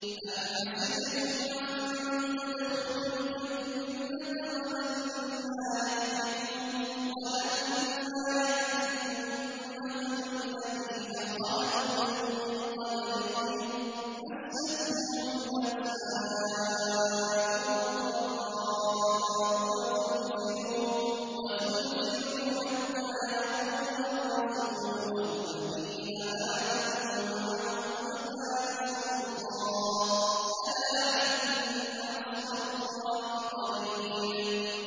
أَمْ حَسِبْتُمْ أَن تَدْخُلُوا الْجَنَّةَ وَلَمَّا يَأْتِكُم مَّثَلُ الَّذِينَ خَلَوْا مِن قَبْلِكُم ۖ مَّسَّتْهُمُ الْبَأْسَاءُ وَالضَّرَّاءُ وَزُلْزِلُوا حَتَّىٰ يَقُولَ الرَّسُولُ وَالَّذِينَ آمَنُوا مَعَهُ مَتَىٰ نَصْرُ اللَّهِ ۗ أَلَا إِنَّ نَصْرَ اللَّهِ قَرِيبٌ